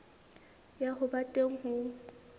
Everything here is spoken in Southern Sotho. ya ho ba teng ho